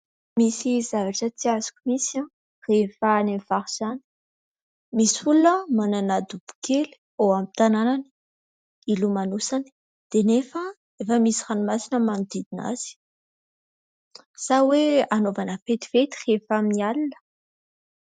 Misy zavatra tsy azoko mihitsy rehefa any amin'ny faritra any. Misy olona manana dobo kely ao amin'ny tanànany, ilomanosany, dia nefa efa misy ranomasina manodidina azy. Sa hoe anaovana fetifety rehefa amin'ny alina ?